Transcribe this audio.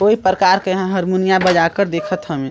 कोई प्रकार के ह हरमुनिया बजाकर देखत हवे।